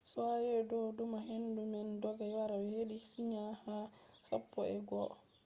be do numa hendu man dogga wara hedi china ha sappo e go’o kph